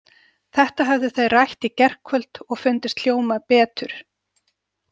Þetta höfðu þau rætt í gærkvöld og fundist hljóma betur.